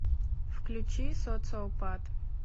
включи социопат